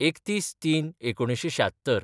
३१/०३/१९७६